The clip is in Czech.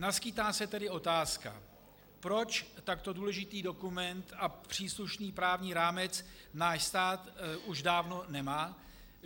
Naskýtá se tedy otázka: Proč takto důležitý dokument a příslušný právní rámec náš stát už dávno nemá?